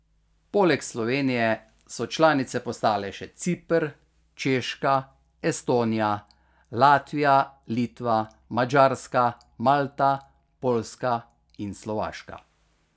Poleg Slovenije so članice postale še Ciper, Češka, Estonija, Latvija, Litva, Madžarska, Malta, Poljska in Slovaška.